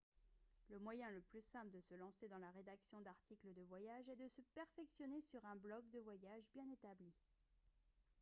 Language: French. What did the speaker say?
le moyen le plus simple de se lancer dans la rédaction d'articles de voyage est de se perfectionner sur un blogue de voyage bien établi